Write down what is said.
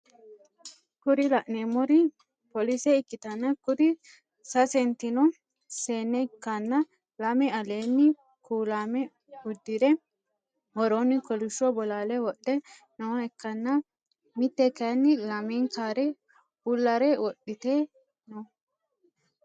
Kuri laneemori polise ikkitanna kuri sasentino seenne ikkanna lame aleeni kulaamo uddire worooni kolishsho bolaale wodhe nooha ikkanna Mitte kaayiini lamenkkare bullare wodhite no